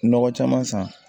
Nɔgɔ caman san